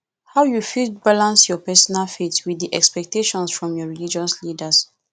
how you fit balance your personal faith with di expectations from your religious leaders